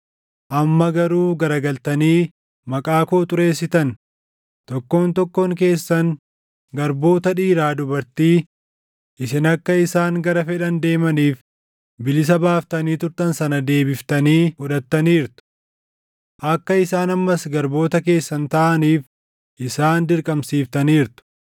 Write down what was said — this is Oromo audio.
Amma garuu garagaltanii maqaa koo xureessitan; tokkoon tokkoon keessan garboota dhiiraa dubartii isin akka isaan gara fedhan deemaniif bilisa baaftanii turtan sana deebiftanii fudhattaniirtu. Akka isaan ammas garboota keessan taʼaniif isaan dirqamsiiftaniirtu.